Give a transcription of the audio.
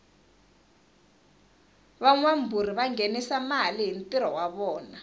vangawamburi vangenisa male hhintiro wavona